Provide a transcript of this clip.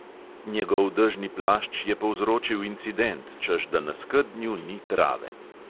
Njegov dežni plašč je povzročil incident, češ da na skednju ni trave.